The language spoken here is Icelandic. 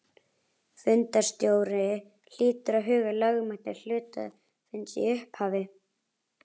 Fundarstjóri hlýtur að huga að lögmæti hluthafafundarins í upphafi.